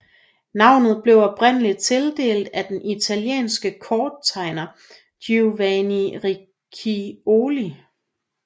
Navnet blev oprindeligt tildelt af den italienske korttegner Giovanni Riccioli